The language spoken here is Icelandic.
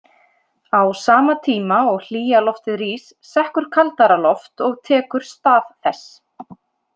Á sama tíma og hlýja loftið rís sekkur kaldara loft og tekur stað þess.